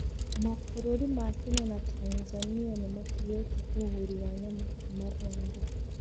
Mabũrũri wa Kenya na Tanzania nĩ matigĩte ũgũri wa nyama kuma Rwanda.